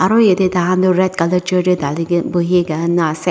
aru yatae tahan tu red colour chair tae dali kae buhikae na ase.